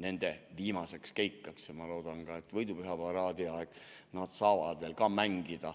nende viimaseks keikka'ks, ja ma loodan, et võidupüha paraadi ajal nad saavad ka veel mängida.